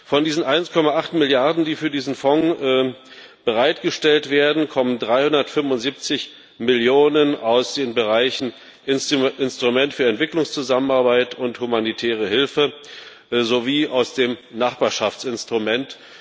Von diesen 1,8 Milliarden, die für diesen Fonds bereitgestellt werden, kommen 375 Millionen aus den Bereichen Instrument für Entwicklungszusammenarbeit und humanitäre Hilfe sowie aus dem Nachbarschaftsinstrument.